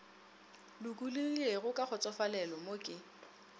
lokologilego ka kgotsofalelo mo ke